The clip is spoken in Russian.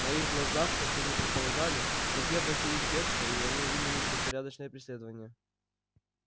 на их глазах как они и предполагали враги обратились в бегство и они ринулись в беспорядочное преследование